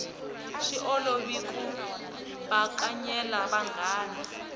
swi olovi ku bakanyela vanghana